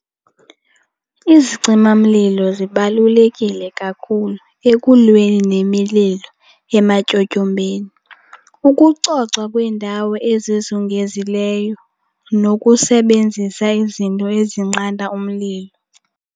Izicimamlilo zibalulekile kakhulu ekulweni nemililo ematyotyombeni, ukucocwa kweendawo ezizongezileyo nokusebenzisa izinto ezinqanda umlilo.